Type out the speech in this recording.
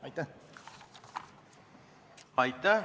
Aitäh!